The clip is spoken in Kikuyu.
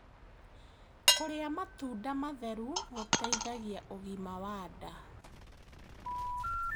Kurĩa matunda matheru gũteithagia ũgima wa ndaa